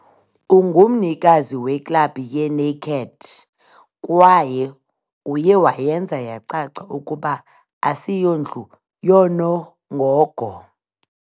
Ungumnikazi weClub ye-Naked kwaye uye wayenza yacaca ukuba asiyondlu yoonongogo.